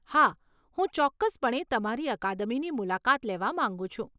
હા, હું ચોક્કસપણે તમારી અકાદમીની મુલાકાત લેવા માંગુ છું.